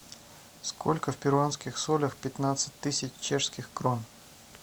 сколько в перуанских солях пятнадцать тысяч чешских крон